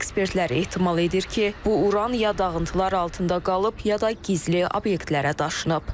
Ekspertlər ehtimal edir ki, bu Uran ya dağıntılar altında qalıb, ya da gizli obyektlərə daşınıb.